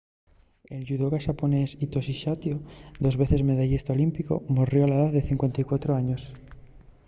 el yudoca xaponés hitoshi saito dos veces medallista olímpicu morrió a la edá de 54 años